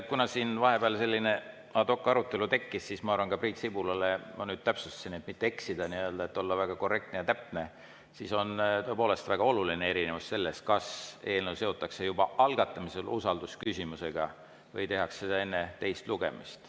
Kuna siin vahepeal tekkis selline ad hoc arutelu, siis ma Priit Sibulale vastuseks – ma vahepeal täpsustasin, et mitte eksida, et olla väga korrektne ja täpne –, et on tõepoolest väga oluline erinevus selles, kas eelnõu seotakse juba algatamisel usaldusküsimusega või tehakse seda enne teist lugemist.